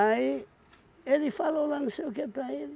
ele falou lá não sei o que para ele.